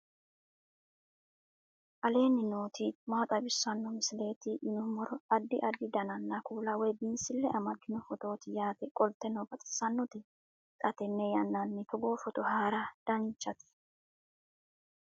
aleenni nooti maa xawisanno misileeti yinummoro addi addi dananna kuula woy biinsille amaddino footooti yaate qoltenno baxissannote xa tenne yannanni togoo footo haara danvchate